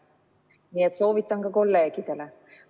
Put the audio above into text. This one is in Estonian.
Nii et soovitan ka kolleegidele.